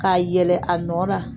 K'a yɛlɛn a nɔ na.